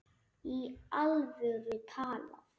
Í alvöru talað.